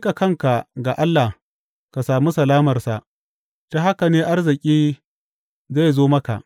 Ka miƙa kanka ga Allah ka samu salamarsa; ta haka ne arziki zai zo maka.